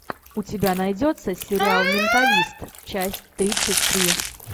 у тебя найдется сериал менталист часть тридцать три